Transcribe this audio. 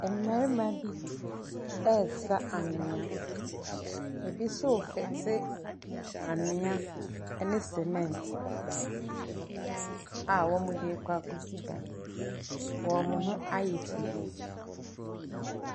Mmarima bi resa anwea. Ebi nso refete anhwea ne cemente a wɔde rekɔ akosi dan. Wɔn ho ayɛ fi.